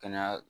Kɛnɛya